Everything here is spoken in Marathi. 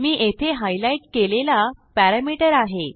मी येथे हायलाईट केलेला पॅरामीटर आहे